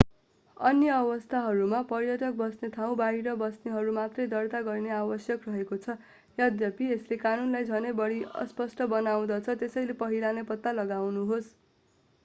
अन्य अवस्थाहरूमा पर्यटक बस्ने ठाउँ बाहिर बस्नेहरूले मात्रै दर्ता गर्न आवश्यक रहेको छ यद्यपि यसले कानूनलाई झनै बढि अस्पष्ट बनाउँदछ त्यसैले पहिला नै पत्ता लगाउनुहोस्